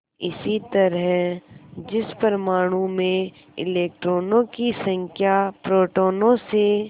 इसी तरह जिस परमाणु में इलेक्ट्रॉनों की संख्या प्रोटोनों से